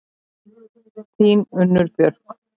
Þín, Unnur Björk.